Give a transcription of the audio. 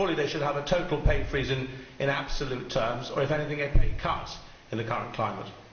Surely they should have a total pay freeze in absolute terms or, if anything, a pay cut, in the current climate?